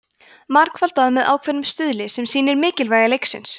margfaldað með ákveðnum stuðli sem lýsir mikilvægi leiksins